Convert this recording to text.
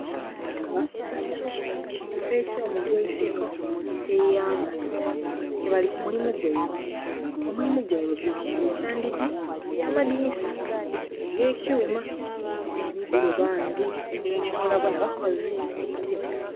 Abasaadha mu kifoo ekyo mugoiteko ekyeighanga, ke bali ku mulimu ghaibwe, omulamu gwaibwe gwa kwokya ndhigi nha madhinisa ebye kyuuma baligho era bona bona bakazi.